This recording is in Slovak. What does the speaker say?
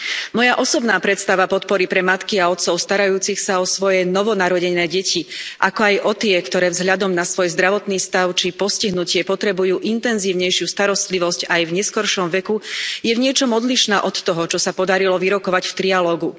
Moja osobná predstava podpory pre matky a otcov starajúcich sa o svoje novonarodené deti, ako aj o tie, ktoré vzhľadom na svoj zdravotný stav či postihnutie potrebujú intenzívnejšiu starostlivosť aj v neskoršom veku, je v niečom odlišná od toho, čo sa podarilo vyrokovať v trialógu.